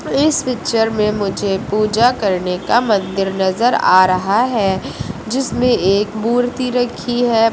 इस पिक्चर में मुझे पूजा करने का मंदिर नजर आ रहा है जिसमें एक मूर्ति रखी है।